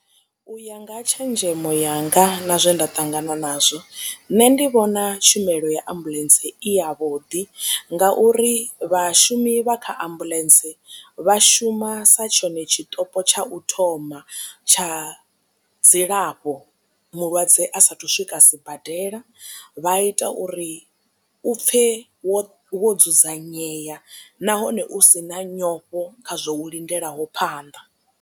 U ya nga tshenzhemo yanga na zwe nda ṱangana nazwo nṋe ndi vhona tshumelo ya ambuḽentse i ya vhuḓi nga uri vhashumi vha kha ambuḽentse vha shuma sa tshone tshitopo tsha u thoma tsha dzilafho mulwadze a sathu swika sibadela vha ita uri u pfhe wo wo dzudzanyea nahone u si na nyofho kha zwo u lindelaho phanḓa.